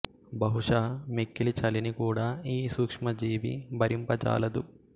బహుశః మిక్కిలి చలిని కూడా ఈ సూక్ష్మ జీవి భరింప జాలదు